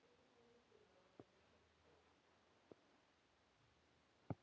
Þá er komið að því.